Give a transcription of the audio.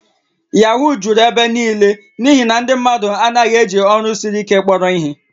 Yahoo juru ebe niile n'ihi na ndị mmadụ anaghị eji ọrụ siri ike kpọrọ ihe